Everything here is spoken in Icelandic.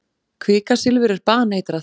Kvikasilfur er baneitrað.